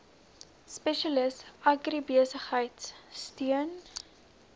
spesialis agribesigheid steun